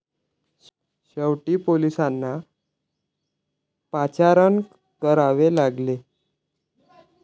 शेवटी पोलिसांना पाचारण करावे लागले.